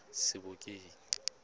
sebokeng